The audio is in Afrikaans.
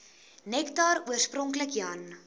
nektar oorspronklik jan